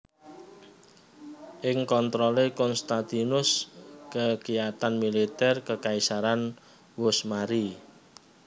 Ing kontrolé Konstantinus kekiyatan militer kekaisaran wus mari